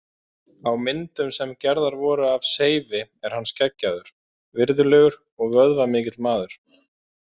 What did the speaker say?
Á myndum sem gerðar voru af Seifi er hann skeggjaður, virðulegur og vöðvamikill maður.